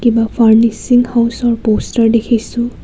কিব furnishing house ৰ poster দেখিছোঁ.